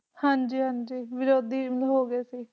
ਹਾਂ ਜੀ ਹਾਂ ਜੀ ਵਿਰੋਧੀ ਹੋ ਗਏ ਸੀ